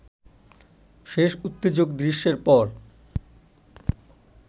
শেষ উত্তেজক দৃশ্যের পর